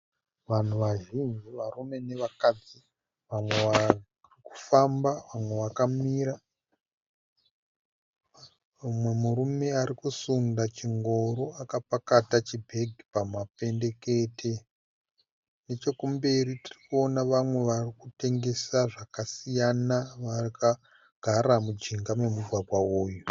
Vanhu vazhinji varume nevakadzi . Vamwe vari kufamba ,vamwe vakamira , mumwe murume arikusunda chingoro akapakata chibhegi pamapendekete. Nechekumberi tirikuona vamwe varikutengesa zvakasiyana vakagara mujinga memugwagwa uyu.